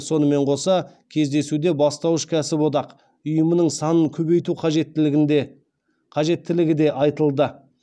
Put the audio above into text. сонымен қоса кездесуде бастауыш кәсіподақ ұйымының санын көбейту қажеттілігі де айтылды